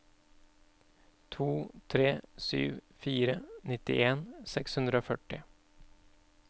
to tre sju fire nittien seks hundre og førti